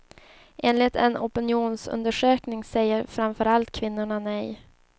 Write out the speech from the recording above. Enligt en opinionsundersökning säger framför allt kvinnorna nej.